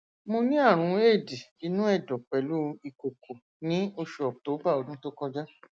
mo ní àrùn éèdì inú ẹdọ pẹlú ìkòkò ní oṣù october ọdún tó kọjá